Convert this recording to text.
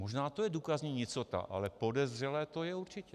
Možná to je důkazní nicota, ale podezřelé to je určitě.